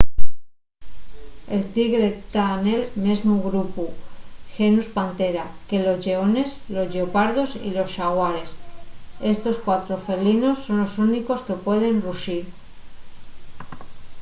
el tigre ta nel mesmu grupu genus panthera que los lleones los lleopardos y los xaguares. estos cuatro felinos son los únicos que pueden ruxir